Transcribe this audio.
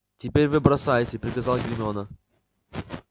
теперь вы бросайте приказала гермиона